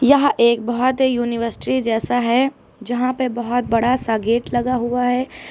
यह एक बहोत ही यूनिवर्सिटी जैसा है जहां पे बहोत बड़ा सा गेट लगा हुआ है।